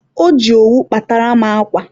o ji owu kpatara m akwa.